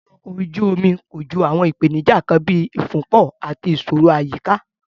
Ibùdó ọkọ̀ ojú omi kojú àwọn ìpèníjà kan bíi ìfúnpọ̀ àti ìṣòro àyíká.